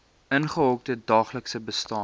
ingehokte daaglikse bestaan